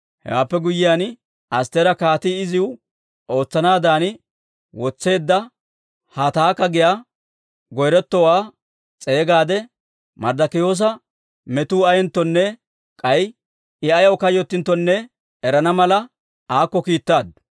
Hewaappe guyyiyaan Astteera, kaatii iziw ootsanaadan wotseedda Hataaka giyaa goyretowaa s'eegaade, Marddikiyoosa metuu ayeenttonne k'ay I ayaw kayyottinttonne erana mala, aakko kiittaaddu.